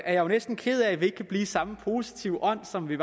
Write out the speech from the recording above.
er jo næsten ked af at vi ikke kan blive i samme positive ånd som ved